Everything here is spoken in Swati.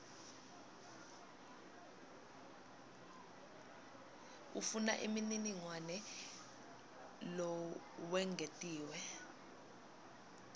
ufuna umniningwane lowengetiwe